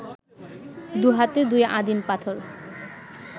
দু’হাতে দুই আদিম পাথর